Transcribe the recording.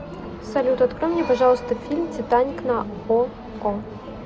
салют открой мне пожалуйста фильм титаник на око